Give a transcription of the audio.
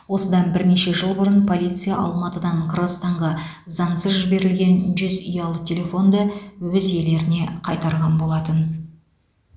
осыдан бірнеше жыл бұрын полиция алматыдан қырғызстанға заңсыз жіберілген жүз ұялы телефонды өз иелеріне қайтарған болатын